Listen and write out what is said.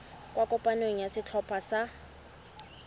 kwa kopanong ya setlhopha sa